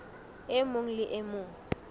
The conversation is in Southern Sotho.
e mong le e mong